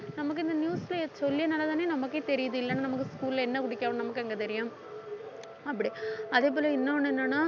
நமக்கு இந்த news சொல்லியதனாலதானே நமக்கே தெரியுது இல்லைன்னா நமக்கு school ல என்ன குடுக்குறாங்க நமக்கு அங்க தெரியும் அப்படி அதே போல இன்னொன்னு என்னென்ன